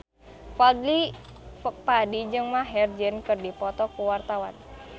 Fadly Padi jeung Maher Zein keur dipoto ku wartawan